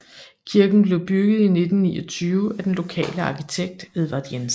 Kirken blev bygget i 1929 af den lokale arkitekt Edvard Jensen